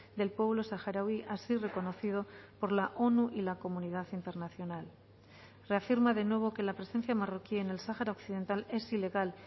del pueblo saharaui así reconocido por la onu y la comunidad internacional reafirma de nuevo que la presencia marroquí en el sahara occidental es ilegal